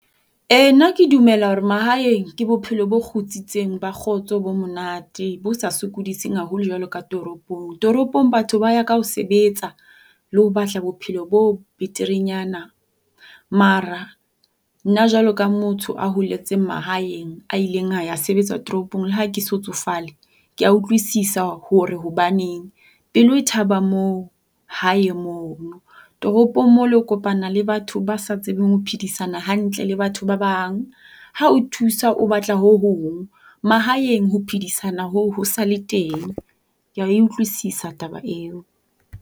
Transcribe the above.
Ee, nna ke dumela hore mahaeng ke bophelo bo kgutsitseng ba kgotso bo monate bo sa sukudiseng haholo jwalo ka toropong. Toropong batho ba ya ka ho sebetsa le ho batla bophelo bo beterenyana, mara nna jwalo ka motho a holetseng mahaeng a ile a ya sebetsa toropong, le ha ke so tsofale, kea utlwisisa hore hobaneng. Pelo e thaba moo hae mono. Toropong mole o kopana le batho ba sa tsebeng ho phedisana hantle le batho ba bang. Ha a o thusa o batla ho hong. Mahaeng ho phedisana hoo ho sa le teng. Kea e utlwisisa taba eo.